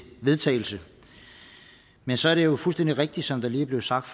vedtagelse men så er det jo fuldstændig rigtigt som det lige blev sagt